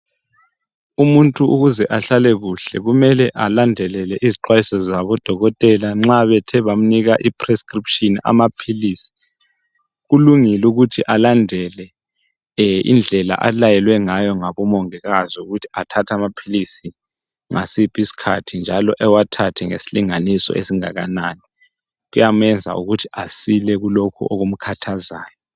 Umuntu ukuze ahlale kuhle kumele alandelele izixwayiso zabodokotela nxa bethe bamnika iprescription amaphilizi. Kulungile ukuthi alandele indlela alayelwe ngayo ngabomongikazi ukuthi athathe amaphilisi ngasiphi isikhathi njalo ewathathe ngezilinganiso ezingakanani, kuyamenza ukuthi asile kulokhu okumkhathazayo.